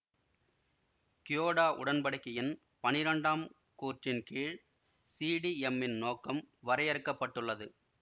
Kyoto உடன்படிக்கையின் பனிரெண்டாம் கூறின் கீழ் சிடீஎம்மின் நோக்கம் வரையறுக்கப்பட்டுள்ளது